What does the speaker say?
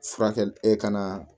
Furakɛli e ka na